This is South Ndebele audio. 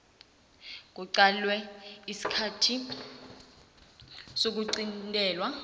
kuqalelelwe isikhathi sokuqintelwa